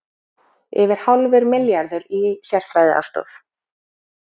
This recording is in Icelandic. Yfir hálfur milljarður í sérfræðiaðstoð